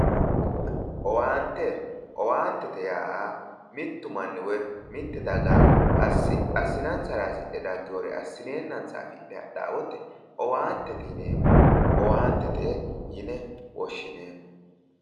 Owaante, owaantete yaa mittu manni woyi mitte daga assinansara hasidhe dagewoore assineennansa hadhawo wote owaantete yineemmo. Owaante yine woshshineemmo